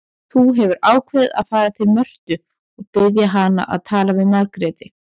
Þú hefur ákveðið að fara til Mörtu og biðja hana að tala við Margréti.